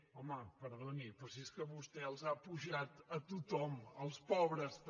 home perdoni però si és que vostè els ha apujat a tothom als pobres també